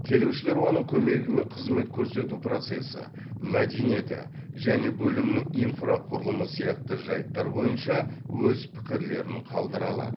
келушілер оның көмегімен қызмет көрсету процесі мәдениеті және бөлімнің инфрақұрылымы сияқты жайттар бойынша өз пікірлерін қалдыра алады